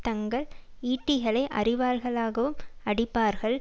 தங்கள் ஈட்டிகளை அறிவாள்களாகவும் அடிப்பார்கள்